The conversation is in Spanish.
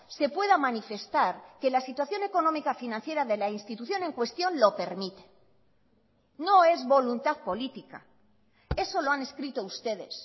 se pueda manifestar que la situación económica financiera de la institución en cuestión lo permite no es voluntad política eso lo han escrito ustedes